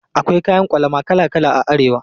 Akwai kayan ƙwalama kala kala a Arewa.